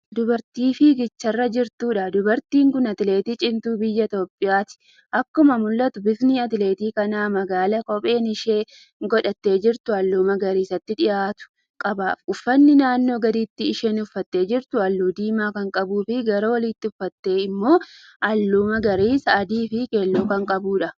Dubartii fiigicharra jirtuudha. dubartiin Kuni atleetii cimtuu biyya itiyoophiyaati. akkuma mul'atu bifti atleetii kanaa magaaladha. kopheen isheen godhattee jirtu halluu magariisatti dhiyaatu qaba. uffanni naannoo gadiitti isheen uffattee jirtu halluu diimaa Kan qabuufi gara oliitti Kan uffatte immoo halluu magariisa adiifi keelloon Kan qabuudha.